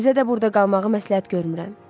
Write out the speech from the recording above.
Sizə də burda qalmağı məsləhət görmürəm.